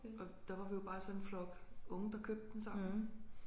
Og der var vi jo bare sådan en flok unge der købte den sammen